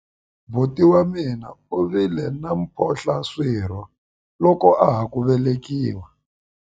buti wa mina u vile na mphohlaswirho loko a ha ku velekiwa